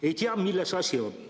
Ei tea, milles asi.